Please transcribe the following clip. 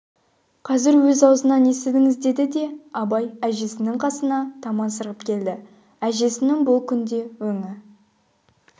қазір өз аузынан естіңіз деді де абай әжесінің қасына таман сырғып келді әжесінің бұл күнде өңі